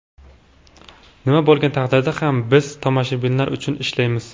Nima bo‘lgan taqdirda ham biz tomoshabinlar uchun ishlaymiz.